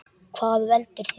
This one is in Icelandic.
Hvað veldur því?